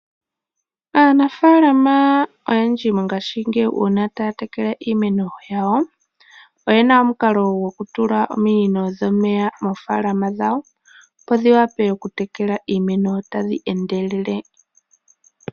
Aanafaalama oyendji mongashingeyi uuna taya tekele iimeno yawo, oyena omukalo gokutula ominino dhomeya moofaalama dhawo, opo dhiwape okutekela iimeno tadhi endelele.